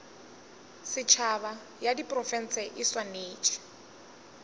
setšhaba ya diprofense e swanetše